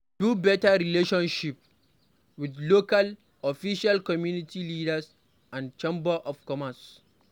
Build better relationship with local officials, community leader and chamber of commerce